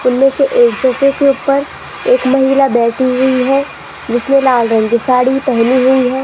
उनमें से एक महिला बैठी हुई है जिसने लाल रंग की साड़ी पहनी हुई है।